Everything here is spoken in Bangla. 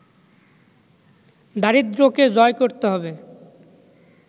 দারিদ্রকে জয় করতে হবে